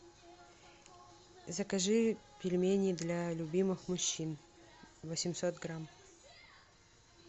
закажи пельмени для любимых мужчин восемьсот грамм